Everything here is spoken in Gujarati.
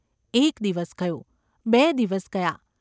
એક દિવસ ગયો; બે દિવસ ગયા.